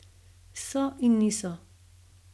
So in niso.